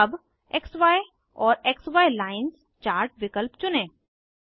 अब क्सी और क्सी लाइन्स चार्ट विकल्प चुनें